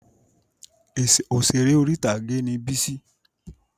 Òṣèré orí-ìtàgé ni Bísí